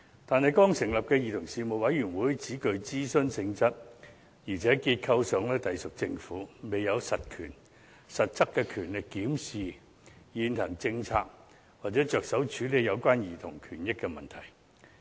但是，剛成立的委員會只具諮詢性質，而且結構上隸屬政府，未有實質權力檢視現行政策或着手處理有關兒童權益的問題。